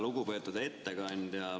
Lugupeetud ettekandja!